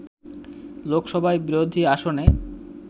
লোকসভায় বিরোধী আসনে